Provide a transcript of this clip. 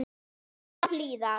Þegja og hlýða.